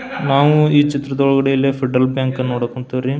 ನಾವು ಚಿತ್ರದೊಳಗಡೆ ಇಲ್ಲಿ ಫೆಡರಲ್ ಬ್ಯಾಂಕ್ ನೋಡಕ್ ಹೋನ್ತಿವ್ರಿ.